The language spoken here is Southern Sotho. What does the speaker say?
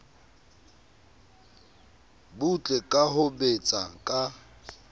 butle ka ho betsa ka